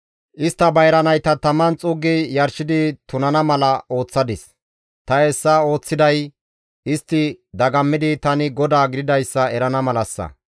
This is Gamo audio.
Istta bayra nayta taman xuuggi yarshidi tunana mala ooththadis; ta hessa ooththiday istti dagammidi tani GODAA gididayssa erana malassa.